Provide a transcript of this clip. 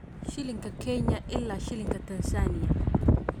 Shilinka Kenya ilaa Shilinka Tansaaniya